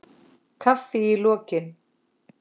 Kaffi í lokin.